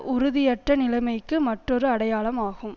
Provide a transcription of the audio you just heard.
உறுதியற்ற நிலைமைக்கு மற்றொரு அடையாளம் ஆகும்